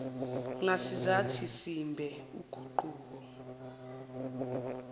ngasizathi simbe uguquko